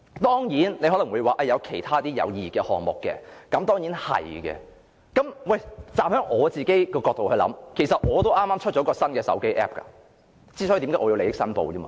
當然，你可能會說也有其他有意義的項目，的確如此，我其實也剛推出一個新的手機 App， 所以我要作利益申報。